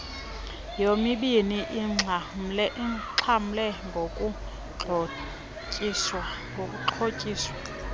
yomibini ixhamle ngokuxhotyiswa